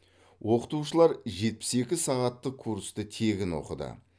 оқытушылар жетпіс екі сағаттық курсты тегін оқыды